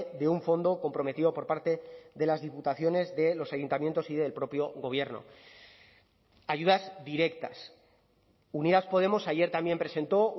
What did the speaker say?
de un fondo comprometido por parte de las diputaciones de los ayuntamientos y del propio gobierno ayudas directas unidas podemos ayer también presentó